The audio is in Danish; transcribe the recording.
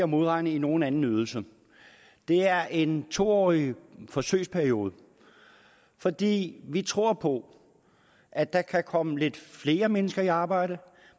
modregnet i nogen anden ydelse det er i en to årig forsøgsperiode fordi vi tror på at der kan komme lidt flere mennesker i arbejde